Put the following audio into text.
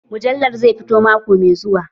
Mujallar zai fito mako mai zuwa